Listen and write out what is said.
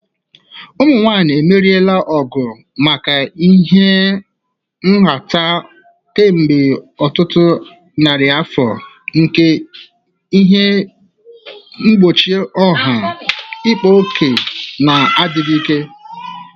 Ụmụ nwanyị emeriela n'ọgụ maka ịha nhata kemgbe ọtụtụ narị afọ nke ihe mgbochi ọha, ịkpa ókè, na adịghị ike.